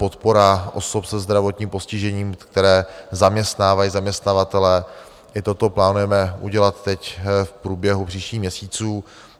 Podpora osob se zdravotním postižením, které zaměstnávají zaměstnavatelé, i toto plánujeme udělat teď v průběhu příštích měsíců.